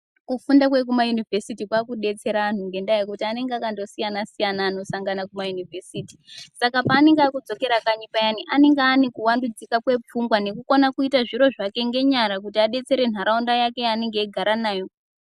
Kufunda kwekumayunovhesiti kwaakudetsera anhu ngendaya yekuti anenge akandosiyana siyana anosangana kumayunivhesiti .Saka paanenge aakudzokera kanyi payani anenge aane kuwandudzika kwepfungwa nekukona kuita zviro zvake ngenyara kuti adetsere nharaunda yake yaanenge eigara nayo .